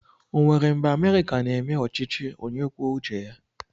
O nwere mgbe Amerịka na-eme ọchịchị onye kwuo uche ya?